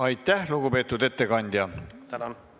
Aitäh, lugupeetud ettekandja!